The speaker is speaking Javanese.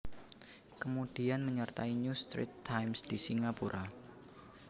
Kemudian menyertai New Straits Times di Singapura